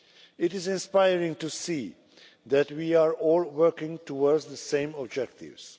It is inspiring to see that we are all working towards the same objectives.